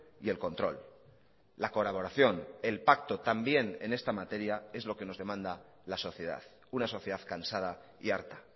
y el control la colaboración el pacto también en esta materia es lo que nos demanda la sociedad una sociedad cansada y harta